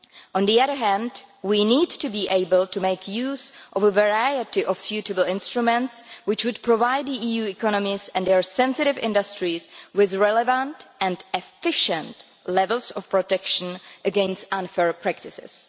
On the other hand, we need to be able to make use of a variety of suitable instruments which would provide the EU economies and their sensitive industries with relevant and efficient levels of protection against unfair practices.